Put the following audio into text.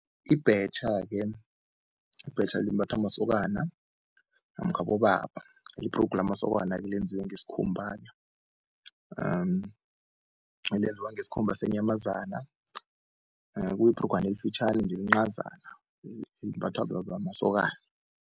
Ibhetjha-ke, ibhetjha limbathwa masokana namkha abobaba. Libhrugu lamasokana-ke lenziwe ngesikhumba elenziwa ngesikhumba senyamazana kuyibhrugwana elifitjhani nje elincazana elimbathwa masokana.